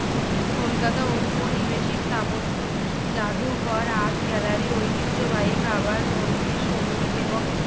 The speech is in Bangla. কলকাতা ঔপনিবেশিক স্থাপত্য জাদুঘর, art gallery ঐতিহ্যবাহী খাবার, মন্দির, সংগীত এবং